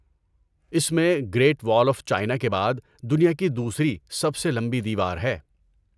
اس میں great wall of China کے بعد دنیا کی دوسری سب سے لمبی دیوار ہے۔